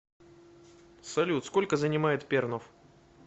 салют сколько занимает пернов